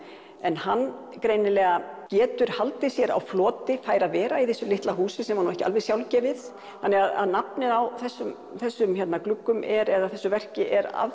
en hann greinilega getur haldið sér á floti fær að vera í þessu litla húsi sem var nú ekki alveg sjálfgefið þannig að nafnið á þessum þessum gluggum eða þessu verki er